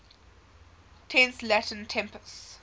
tense latin tempus